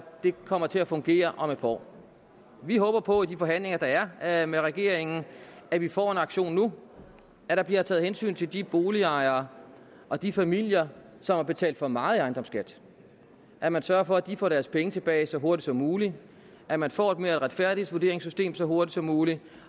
det kommer til at fungere om et par år vi håber på i de forhandlinger der er med regeringen at vi får en aktion nu at der bliver taget hensyn til de boligejere og de familier som har betalt for meget i ejendomsskat at man sørger for at de får deres penge tilbage så hurtigt som muligt at man får et mere retfærdigt vurderingssystem så hurtigt som muligt